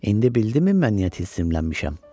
İndi bildinmi mən niyə tilsimlənmişəm?